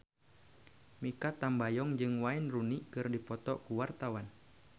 Mikha Tambayong jeung Wayne Rooney keur dipoto ku wartawan